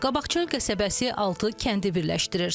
Qabaqçöl qəsəbəsi altı kəndi birləşdirir.